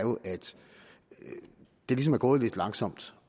det ligesom er gået lidt langsomt